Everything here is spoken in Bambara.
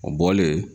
O bɔlen